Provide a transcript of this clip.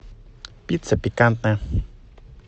пицца пикантная